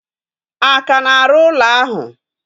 A ka na-arụ ụlọ ahụ?